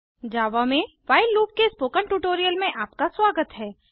जावा में while loop के spoken tutorial में आपका स्वागत है